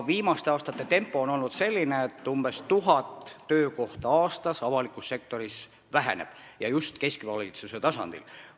Viimaste aastate tempo on olnud selline, et umbes tuhat töökohta jääb avalikus sektoris aastas vähemaks ja just keskvalitsuse tasandil.